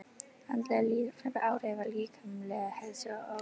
Andleg líðan hefur áhrif á líkamlega heilsu og öfugt.